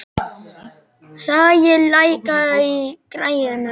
Sæi, lækkaðu í græjunum.